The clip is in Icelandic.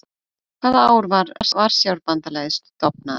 Hvaða ár var Varsjárbandalagið stofnað?